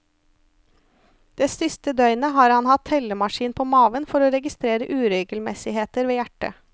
Det siste døgnet har han hatt tellemaskin på maven for å registrere uregelmessigheter ved hjertet.